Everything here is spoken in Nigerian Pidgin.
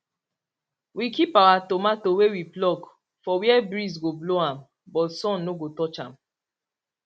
we keep our tomato wey we pluck for where breeze go blow am but sun no go touch am